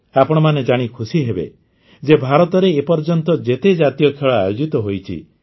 ଆପଣମାନେ ଜାଣି ଖୁସି ହେବେ ଯେ ଭାରତରେ ଏ ପର୍ଯ୍ୟନ୍ତ ଯେତେ ଜାତୀୟ ଖେଳ ଆୟୋଜିତ ହୋଇଛି